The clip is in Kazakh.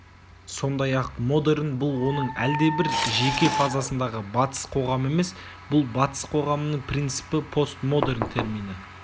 сондай-ақ модерн бұл оның әлдебір жеке фазасындағы батыс қоғамы емес бұл батыс қоғамының принципі постмодерн термині